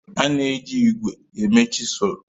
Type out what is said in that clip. A na-eji ígwè eme chịsụlụ